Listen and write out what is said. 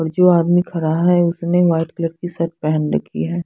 अब जो आदमी खड़ा है उसने वाइट कलर की शर्ट पहन रखी है।